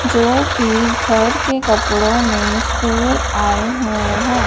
जोकि घर के कपड़ों में स्कूल आए हुए हैं।